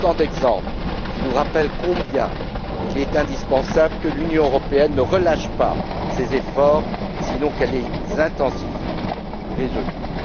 Autant d'exemples qui nous rappellent combien il est indispensable que l'Union européenne ne relâche pas ses efforts, sinon qu'elle les intensifie résolument.